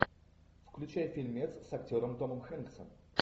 включай фильмец с актером томом хэнксом